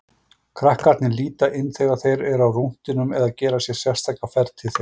Krakkarnir líta inn þegar þeir eru á rúntinum eða gera sér sérstaka ferð til þeirra.